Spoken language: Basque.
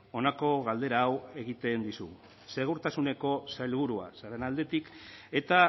honako galdera hau egiten dizugu segurtasuneko sailburua zaren aldetik eta